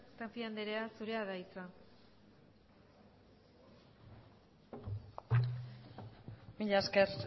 tapia anderea zurea da hitza mila esker